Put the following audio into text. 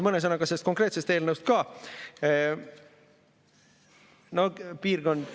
Mõne sõnaga sellest konkreetsest eelnõust ka.